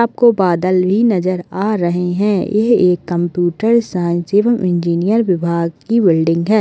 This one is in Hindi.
आपको बादल भी नजर आ रहे हैं एह एक कंप्यूटर साइंस एवं इंजीनियर विभाग की बिल्डिंग है।